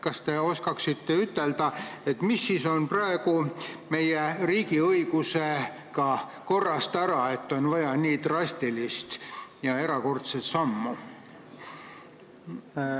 Kas te oskate ütelda, mis siis on meie riigiõigusega korrast ära, et on vaja nii erakorralist ja drastilist sammu?